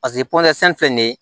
Paseke filɛ nin ye